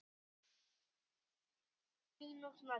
Þessi er fjórtán mínútna löng.